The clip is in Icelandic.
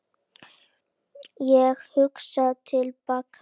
Ég hugsa til baka.